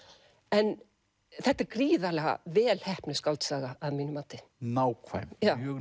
en þetta er gríðarlega vel heppnuð skáldsaga að mínu mati nákvæm